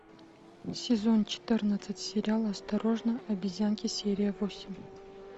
сезон четырнадцать сериал осторожно обезьянки серия восемь